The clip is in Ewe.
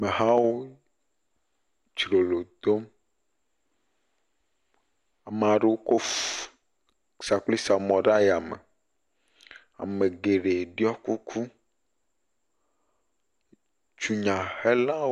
Amehawo dzrolo dom, meaɖewo tsɔ sakplisamɔ ɖe aya me, ame geɖe ɖɔ kuku, dunyahelawo…